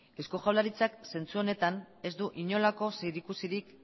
eusko jaurlaritzak zentzu honetan ez du inolako zerikusirik